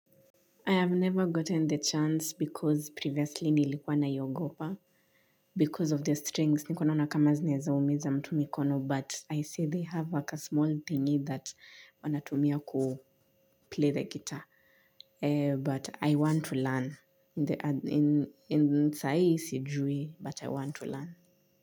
I have never gotten the chance because previously nilikuwa naiogopa because of the strings nipikua naona kama zinaeza umiza mtu mikono but I see they have a ka small thingi that wanatumia ku play the guitar but I want to learn in saa hii sijui but I want to learn.